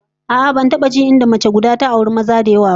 A'a, ban taba jin inda mace guda ta auri maza da yawa ba